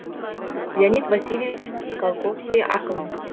леонид васильевич скалковский ақын